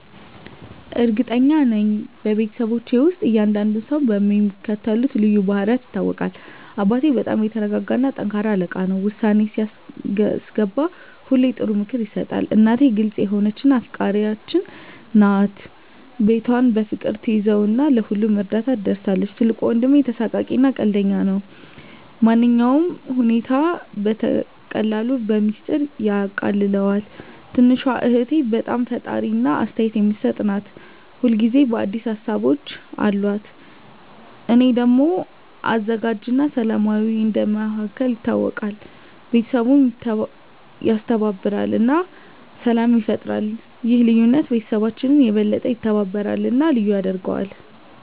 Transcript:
እርግጠኛ ነኝ፤ በቤተሰባችን ውስጥ እያንዳንዱ ሰው በሚከተሉት ልዩ ባህሪያት ይታወቃል - አባቴ በጣም የተረጋ እና ጠንካራ አለቃ ነው። ውሳኔ ሲያስገባ ሁሌ ጥሩ ምክር ይሰጣል። እናቴ ግልጽ የሆነች እና አፍቃሪች ናት። ቤቷን በፍቅር ትያዘው እና ለሁሉም እርዳታ ትደርሳለች። ትልቁ ወንድሜ ተሳሳቂ እና ቀልደኛ ነው። ማንኛውንም ሁኔታ በቀላሉ በሚስጥር ያቃልለዋል። ትንሹ እህቴ በጣም ፈጣሪ እና አስተያየት የምትሰጥ ናት። ሁል ጊዜ አዲስ ሀሳቦች አሉት። እኔ ደግሞ አዘጋጅ እና ሰላማዊ እንደ መሃከል ይታወቃለሁ። ቤተሰቡን ያስተባብራል እና ሰላም ይፈጥራል። ይህ ልዩነት ቤተሰባችንን የበለጠ ያስተባብራል እና ልዩ ያደርገዋል።